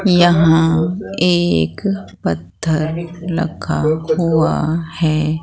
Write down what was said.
यहां एक पत्थर रखा हुआ है।